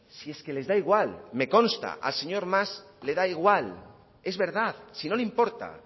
si es que les da igual me consta al señor mas le da igual es verdad si no le importa